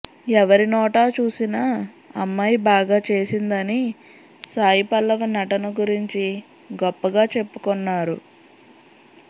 ఎవరి నోటా చూసిన అమ్మాయి బాగా చేసింది అని సాయి పల్లవి నటన గురించి గొప్పగా చెప్పుకొన్నారు